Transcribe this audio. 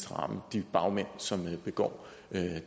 ramme de bagmænd som begår